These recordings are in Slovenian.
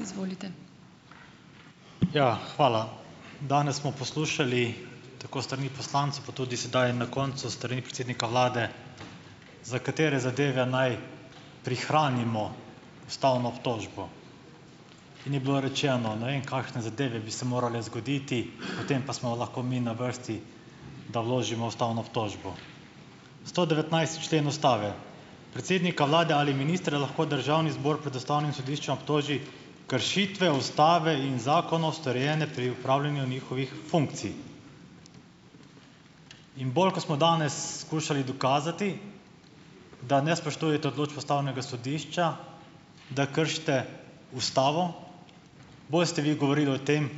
, izvolite. Ja, hvala. Danes smo poslušali tako strani pa tudi sedaj na koncu strani predsednika vlade, za katere zadeve naj prihranimo ustavno obtožbo. Ni bilo rečeno, ne vem kakšne zadeve bi se morale zgoditi, potem pa smo lahko mi na vrsti, da vložimo ustavno obtožbo. Sto devetnajsti člen Ustave: "Predsednika Vlade ali ministre lahko Državni zbor pred Ustavnim sodiščem obtoži kršitve Ustave in storjene pri upravljanju njihovih funkcij." In bolj, kot smo danes skušali dokazati, da ne spoštujete odločb Ustavnega sodišča, da kršite Ustavo, boste vi govorili o tem,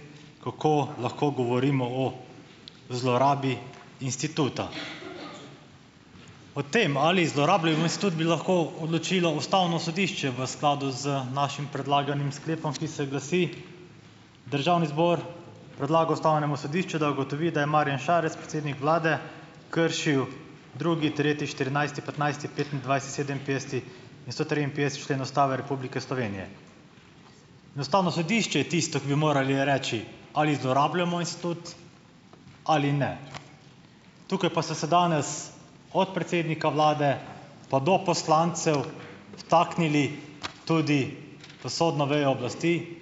kako lahko govorimo o zlorabi instituta. O tem, ali zlorabljamo institut, bi lahko odločilo Ustavno sodišče v skladu z našim predlaganim sklepom, ki se glasi: "Državni zbor predlaga Ustavnemu sodišču, da ugotovi, da je Marjan Šarec, predsednik vlade kršil drugi, treti, štirinajsti, petnajsti, sedeminpetdeseti in sto triinpetdeseti člen Ustave Republike Slovenije." Ustavno sodišče je tisto, ki bi morali reči, ali zlorabljamo institut ali ne. Tukaj pa se danes od predsednika vlade pa do poslancev vtaknili tudi v sodno vejo oblasti,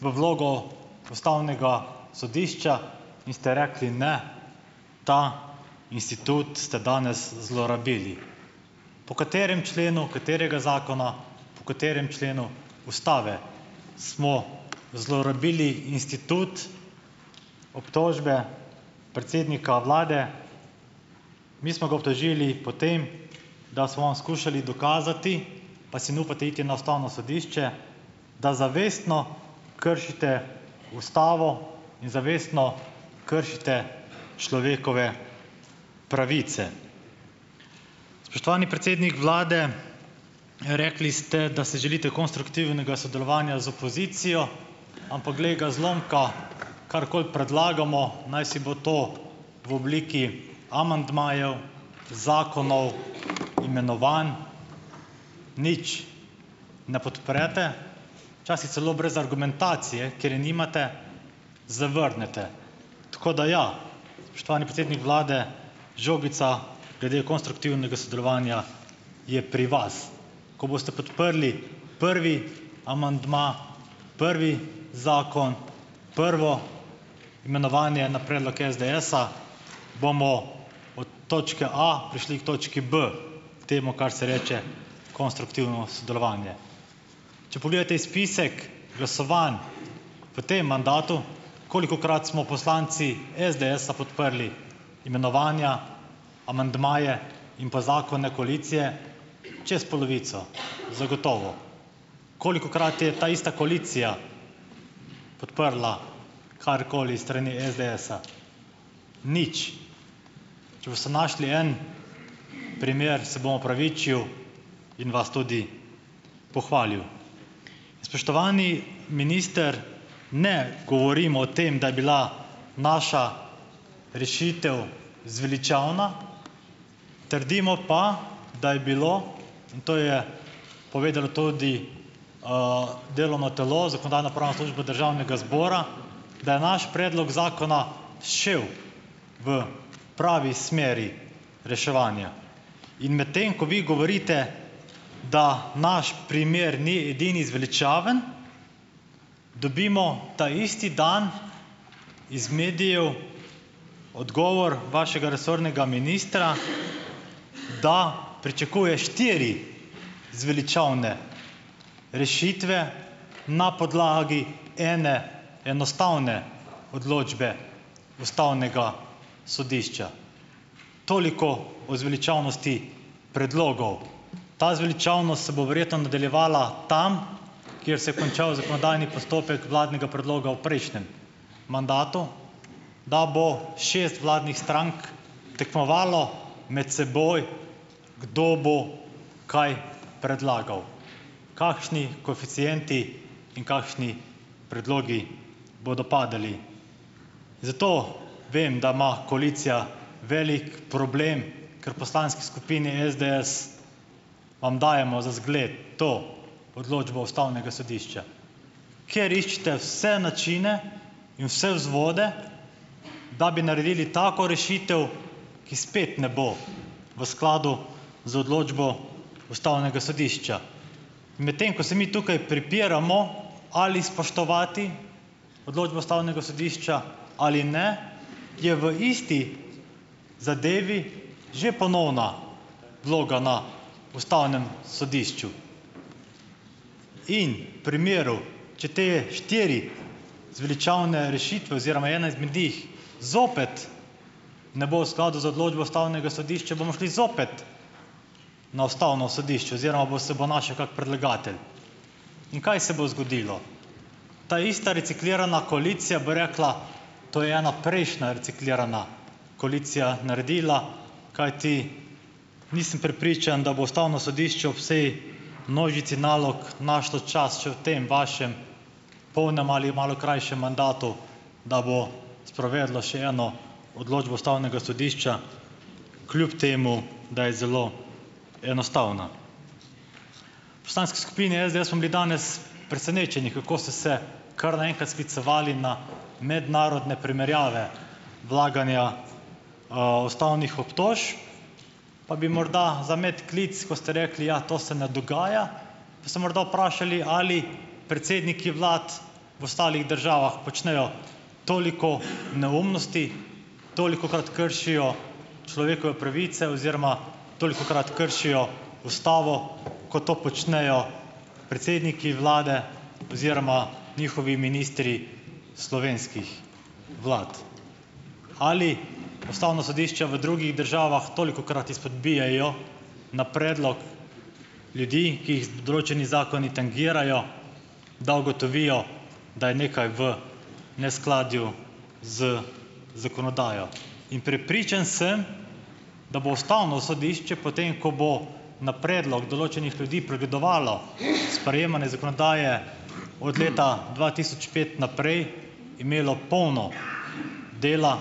v vlogo Ustavnega sodišča in ste rekli, ne, ta institut ste danes zlorabili. Po katerem členu katerega zakona, po katerem členu Ustave smo zlorabili institut obtožbe predsednika vlade? Mi smo ga obtožili po tem, da smo skušali dokazati, pa si ne upate iti na Ustavno sodišče, da zavestno kršite Ustavo in zavestno kršite človekove pravice. Spoštovani predsednik vlade, rekli ste, da se želite konstruktivnega sodelovanja z opozicijo, ampak glej ga zlomka, karkoli predlagamo, najsi bo to v obliki amandmajev zakonov, imenovanj, nič ne podprete. Včasih celo brez argumentacije, ker je nimate, zavrnete. Tako da ja, spoštovani predsednik vlade, žogica glede konstruktivnega sodelovanja je pri vas. Ko boste podprli prvi amandma, prvi zakon, prvo imenovanje na predlog SDS-a, bomo od točke A prišli k točki B, k temu, kar se reče konstruktivno sodelovanje. Če pogledate izpisek glasovanj v tem mandatu, kolikokrat smo poslanci SDS-a podprli imenovanja, amandmaje in pa zakone koalicije. Čez polovico. Zagotovo. Kolikokrat je taista koalicija podprla karkoli iz strani SDS-a. Nič. Če boste našli en primer, se bom opravičil in vas tudi pohvalil. Spoštovani minister. Ne govorim o tem, da je bila naša rešitev zveličavna. Trdimo pa, da je bilo, to je povedalo tudi delovno telo, Zakonodajno-pravna služba Državnega zbora, da je naš predlog zakona šel v pravi smeri reševanja. In medtem ko vi govorite, da naš primer ni edini zveličaven, dobimo taisti dan iz medijev odgovor vašega resornega ministra, da pričakuje štiri zveličavne rešitve na podlagi ene enostavne odločbe Ustavnega sodišča. Toliko o zveličavnosti predlogov. Ta zveličavnost se bo nadaljevala tam, kjer se končal zakonodajni postopek vladnega predloga o prejšnjem mandatu, da bo šest vladnih strank tekmovalo med seboj, kdo bo kaj predlagal. Kakšni koeficienti in kakšni predlogi bodo padali. Zato vem, da ima koalicija velik problem, ker poslanski skupini SDS vam dajemo za zgled to odločbo Ustavnega sodišča. Ker iščete vse načine in vse vzvode, da bi naredili tako rešitev, ki spet ne bo v skladu z odločbo Ustavnega sodišča. Medtem ko se mi tukaj prepiramo, ali spoštovati odločbo Ustavnega sodišča ali ne, je v isti zadevi že ponovna vloga na Ustavnem sodišču. In primeru, če te štirih zveličavne rešitve oziroma ena izmed njih zopet ne bo v skladu z odločbo Ustavnega sodišča, bomo šli zopet na Ustavno sodišče oziroma bo se bo kak predlagatelj. In kaj se bo zgodilo? Taista reciklirana koalicija bo rekla, to je ena prejšnja reciklirana koalicija naredila, kajti nisem prepričan, da bo Ustavno sodišče ob vsej množici nalog našla čas še v tem vašem polnem ali malo krajšem mandatu, da bo sprovedla še eno odločbo Ustavnega sodišča kljub temu, da je zelo enostavna. Poslanske skupine SDS smo bili danes presenečeni, kako ste se kar naenkrat sklicevali na mednarodne primerjave vlaganja ustavnih obtožb. Pa bi morda za medklic, ko ste rekli, ja, to se ne dogaja, bi se morda vprašali ali predsedniki vlad ostalih državah počnejo toliko neumnosti, tolikokrat kršijo človekove pravice oziroma tolikokrat kršijo Ustavo, ko to počnejo predsedniki vlade oziroma njihovi ministri slovenskih vlad. Ali Ustavno sodišče v drugih državah tolikokrat izpodbijejo na predlog ljudi, ki jih določeni zakoni tangirajo, da ugotovijo, da je nekaj v neskladju z zakonodajo. In prepričan sem, da bo Ustavno sodišče potem, ko bo na predlog določenih ljudi pregledovalo sprejemanje zakonodaje od leta dva tisoč pet naprej, imelo polno dela,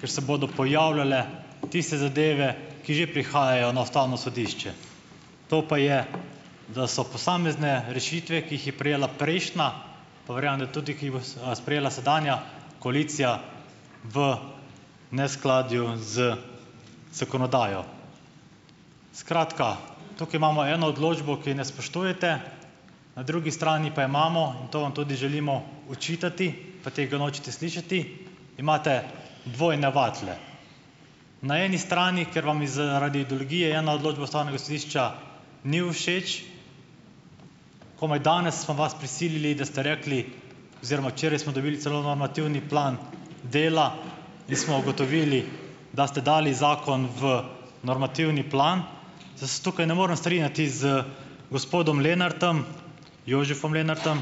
ker se bodo pojavljale tiste zadeve, ki še prihajajo na Ustavno sodišče. To pa je, da so posamezne rešitve, ki jih je prejela prejšnja, pa verjamem da tudi, ki sprejela sedanja koalicija, v neskladju z zakonodajo. Skratka, tukaj imamo eno odločbo, ki je ne spoštujete, na drugi strani pa imamo, to vam tudi želimo očitati, pa tega nočete slišati, imate dvojne vatle. Na eni strani, ker vam bi zaradi ideologije ena odločba Ustavnega sodišča ni všeč, komaj danes smo vas prisilili, da ste rekli, oziroma včeraj smo celo normativni plan dela, in smo ugotovili, da ste dali zakon v normativni plan. se tukaj ne morem strinjati z gospodom Lenartom, Jožefom Lenartom,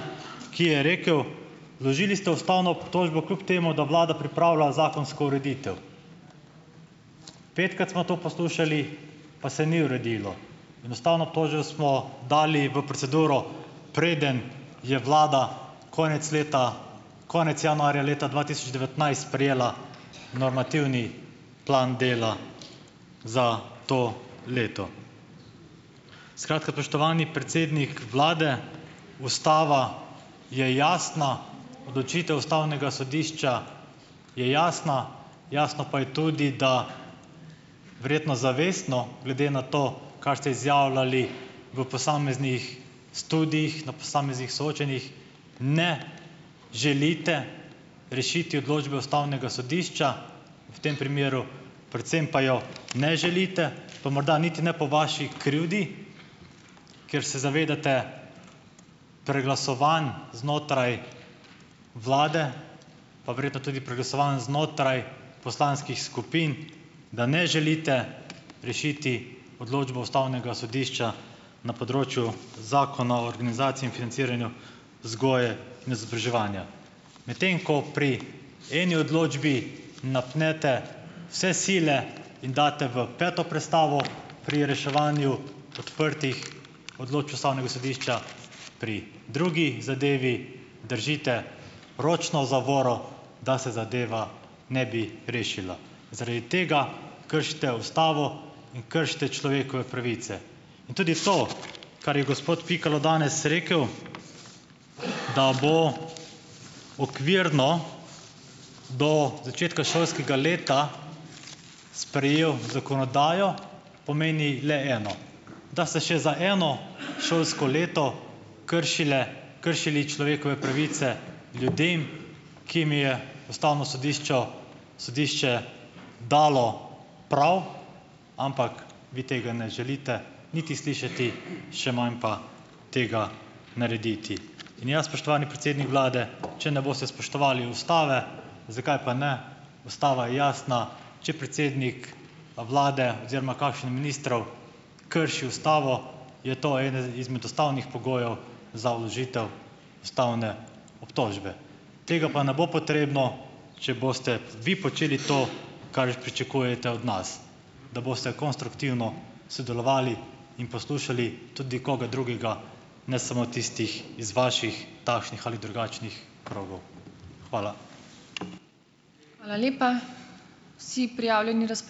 ki je rekel: "Vložili ste ustavno obtožbo kljub temu, da vlada pripravlja zakonsko ureditev." Petkrat smo to poslušali, pa se ni uredilo. Ustavno smo dali v proceduro, preden je vlada konec leta, konec januarja leta dva tisoč devetnajst sprejela normativni plan dela za to leto. Skratka, spoštovani predsednik vlade, Ustava je jasna. Odločitev Ustavnega sodišča je jasna. Jasno pa je tudi, da verjetno zavestno glede na to, kar ste izjavljali v posameznih studiih na posameznih soočenjih, ne želite rešiti odločbe Ustavnega sodišča, v tem primeru, predvsem pa jo ne želite , pa morda niti ne po vaši krivdi, ker se zavedate preglasovanj znotraj vlade, pa verjetno tudi preglasovanj znotraj poslanskih skupin, da ne želite rešiti odločbo Ustavnega sodišča na področju Zakona o organizaciji in financiranju vzgoje in izobraževanja. Medtem ko pri eni odločbi napnete vse sile in daste v peto prestavo pri reševanju odprtih Ustavnega sodišča. Pri drugi zadevi držite ročno zavoro, da se zadeva ne bi rešila. Zaradi tega kršite Ustavo in kršite človekove pravice. Tudi to, kar je gospod Pikalo danes rekel, da bo okvirno do začetka šolskega leta sprejel zakonodajo, pomeni le eno, da se še za eno šolsko leto kršile, kršili človekove pravice ljudem, ki jim je Ustavno sodišče, sodišče dalo prav, ampak vi tega ne želite niti slišati, še manj pa tega narediti. In ja spoštovani predsednik vlade, če ne boste spoštovali Ustave, zakaj pa ne, Ustava je jasna, če predsednik vlade oziroma kakšen ministrov krši Ustavo, je to eden izmed ustavnih pogojev za vložitev ustavne obtožbe. Tega pa ne bo potrebno, če boste vi počeli to , kar pričakujete od nas. Da boste konstruktivno sodelovali in poslušali tudi koga drugega, ne samo tistih iz vaših takšnih ali drugačnih krogov. Hvala. Hvala lepa. Vsi prijavljeni